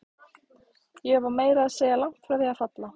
Ég var meira að segja langt frá því að falla.